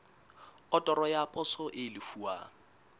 otoro ya poso e lefuwang